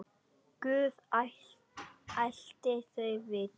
Guð ætli þau viti.